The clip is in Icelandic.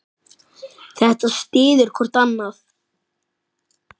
Þetta styður hvort annað.